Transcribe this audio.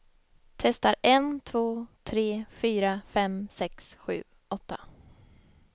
Testar en två tre fyra fem sex sju åtta.